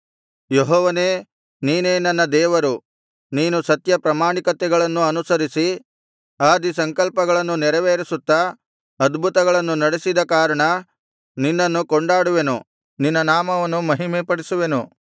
ಯೆಹೋವನೇ ನೀನೇ ನನ್ನ ದೇವರು ನೀನು ಸತ್ಯ ಪ್ರಾಮಾಣಿಕತೆಗಳನ್ನು ಅನುಸರಿಸಿ ಆದಿ ಸಂಕಲ್ಪಗಳನ್ನು ನೆರವೇರಿಸುತ್ತಾ ಅದ್ಭುತಗಳನ್ನು ನಡೆಸಿದ ಕಾರಣ ನಿನ್ನನ್ನು ಕೊಂಡಾಡುವೆನು ನಿನ್ನ ನಾಮವನ್ನು ಮಹಿಮೆಪಡಿಸುವೆನು